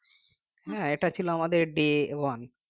হ্যাঁ এটা ছিল আমাদের day one